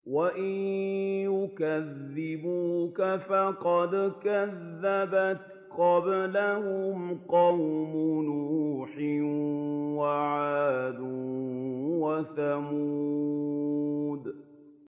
وَإِن يُكَذِّبُوكَ فَقَدْ كَذَّبَتْ قَبْلَهُمْ قَوْمُ نُوحٍ وَعَادٌ وَثَمُودُ